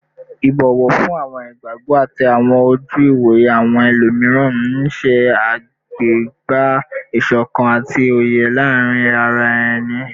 Ibọwọ fun awọn igbagbọ ati awọn oju-iwoye awọn ẹlomiran n ṣe agbega isokan ati oye laarin ara ẹni